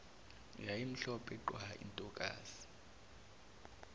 yayimhlophe qwa intokazi